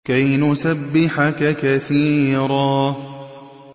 كَيْ نُسَبِّحَكَ كَثِيرًا